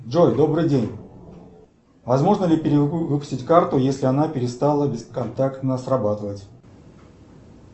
джой добрый день возможно ли перевыпустить карту если она перестала бесконтактно срабатывать